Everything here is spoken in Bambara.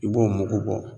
I b'o mugu bɔ